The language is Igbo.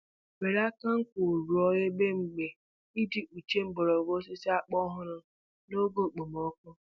Were aka nkwụ rụọ ebe mgba iji kpuchie mgbọrọgwụ osisi akpụ ọhụrụ n'oge okpomọkụ